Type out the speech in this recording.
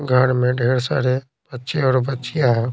घर में ढेर सारे बच्चे और बच्चियां हैं।